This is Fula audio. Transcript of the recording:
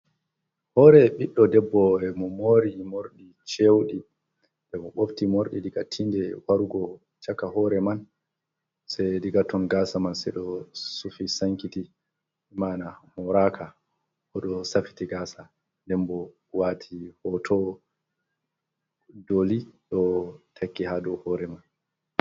Hoore ɓiɗɗo debbo e mo mori morɗi cewɗi.E mo mofti morɗi diga tiinde wargo caka hoore man, sey diga ton gaasa man, sey ɗo sufi sankiti ,mana moraaka o ɗo safiti gaasa ,dembo waati hooto dooli ɗo takki haa dow hoore man.